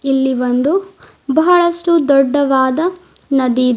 ಇಲ್ಲಿ ಒಂದು ಬಹಳಷ್ಟು ದೊಡ್ಡವಾದ ನದಿ ಇದೆ.